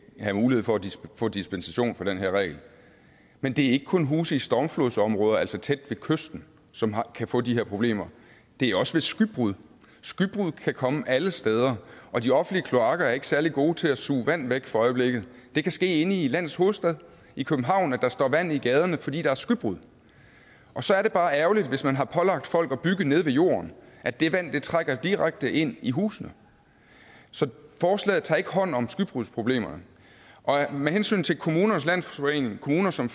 have mulighed for at få dispensation fra den her regel men det er ikke kun huse i stormflodsområder altså tæt ved kysten som kan få de her problemer det er også ved skybrud skybrud kan komme alle steder og de offentlige kloakker er ikke særlig gode til at suge vand væk for øjeblikket det kan ske inde i landets hovedstad i københavn at der står vand i gaderne fordi der er skybrud og så er det bare ærgerligt hvis man har pålagt folk at bygge nede ved jorden at det vand trænger direkte ind i husene så forslaget tager ikke hånd om skybrudsproblemerne med hensyn til kommunernes landsforening og kommuner som